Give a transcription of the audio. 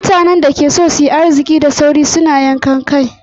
Mutanen da suke so su yi arziki da sauri sun juya zuwa ga yankan kai.